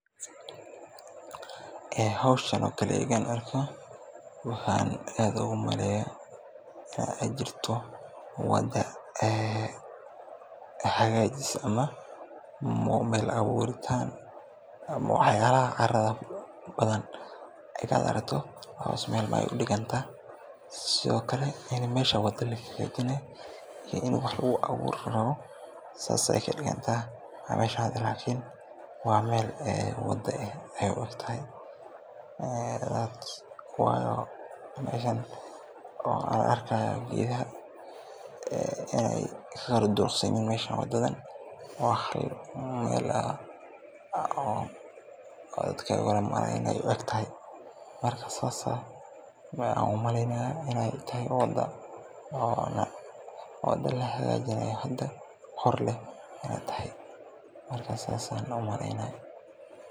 Ee hawshan oo kale markii aan arko, waxaan aad ugu maleynayaa in ay jirto waddo dheer oo la hagaajinayo ama dib u dhis lagu sameynayo. Waxaa muuqda qalab culus sida kuwa dhismaha, shaqaale gacmahooda ku jira qalab shaqo, iyo carro la qodayo ama la buuxinayo. Tani waxay muujinaysaa in dowladda ama hay’ad kale ay ku howlan tahay horumarinta kaabayaasha waddooyinka, si loo fududeeyo isu socodka dadka iyo gaadiidka. Hawshan oo kale waxay muhiim u tahay isku xirnaanta deegaannada iyo kobcinta dhaqaalaha bulshada deegaankaas ku nool.